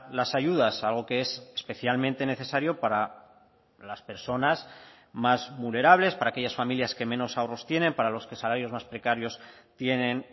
las ayudas algo que es especialmente necesario para las personas más vulnerables para aquellas familias que menos ahorros tienen para los que salarios más precarios tienen